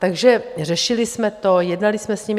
Takže řešili jsme to, jednali jsme s nimi.